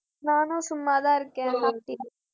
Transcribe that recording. நானும் சும்மாதான் இருக்கேன், சாப்பிட்டியா